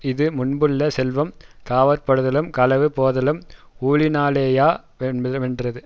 இது முன்புள்ள செல்வம் காவற்படுதலும் களவு போதலும் ஊழினாலேயா மென்றது